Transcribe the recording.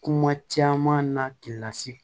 Kuma caman na k'i lase